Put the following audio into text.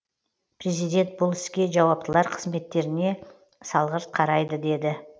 президент бұл іске жауаптылар қызметтеріне салғырт қарайды деді